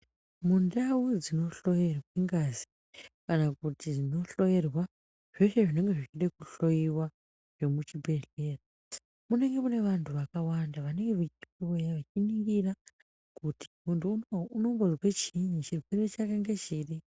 Mundau dzinohloyerwe ngazi kana kuti dzinohloyerwa zveshe zvinenge zvichide kuhloyiwa zvemuchibhedhlera. Munenge mune vantu vakawanda vanee vechiuya vechiningira kuti muntu unowu unombozwe chiini, chirwere chake ngechiri.